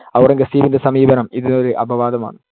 ഔറംഗസേബിന്‍ടെ സമീപനം ഇതിനൊരു അപവാദമാണ്‌.